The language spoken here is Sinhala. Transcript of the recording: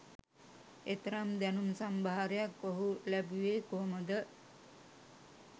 එතරම් දැනුම් සම්භාරයක් ඔහු ලැබුවේ කොහොමද?